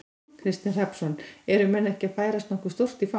Kristinn Hrafnsson: Eru menn ekki að færast nokkuð stórt í, í fang?